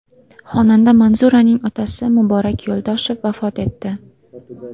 Xonanda Manzuraning otasi Muborak Yo‘ldoshev vafot etdi.